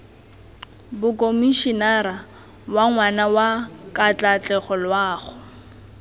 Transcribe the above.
mokomišenara wa ngwana wa katlaatlegoloago